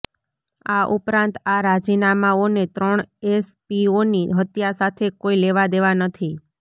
આ ઉપરાંત આ રાજીનામાઓને ત્રણ એસપીઓની હત્યા સાથે કોઇ લેવા દેવા નથી